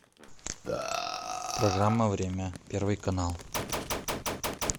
программа время первый канал